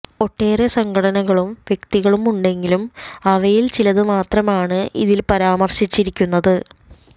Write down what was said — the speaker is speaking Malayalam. ഒട്ടേറെ സംഘടനകളും വ്യക്തികളും ഉണ്ടെങ്കിലും അവയിൽ ചിലത് മാത്രമാണ് ഇതിൽ പരാമർശിച്ചിരിക്കുന്നത്